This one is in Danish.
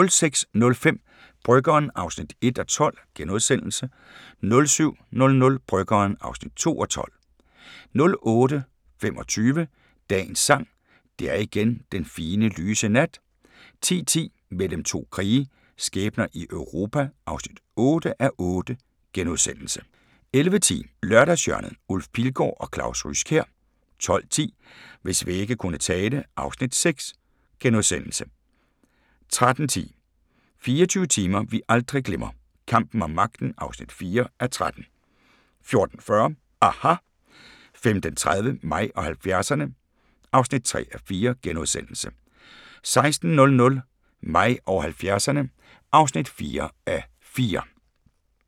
06:05: Bryggeren (1:12)* 07:00: Bryggeren (2:12) 08:25: Dagens Sang: Det er igen den fine, lyse nat 10:10: Mellem to krige – skæbner i Europa (8:8)* 11:10: Lørdagshjørnet - Ulf Pilgaard og Claus Ryskjær 12:10: Hvis vægge kunne tale (Afs. 6)* 13:10: 24 timer vi aldrig glemmer – kampen om magten (4:13) 14:40: aHA! 15:30: Mig og 70'erne (3:4)* 16:00: Mig og 70'erne (4:4)